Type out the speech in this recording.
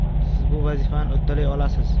Siz bu vazifani uddalay olasiz!